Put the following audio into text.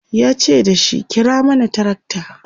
yace dashi"kira mana tracta!"